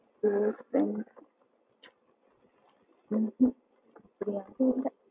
அப்படி எதுவும் இல்ல.